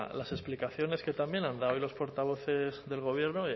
las explicaciones que también han dado hoy los portavoces del gobierno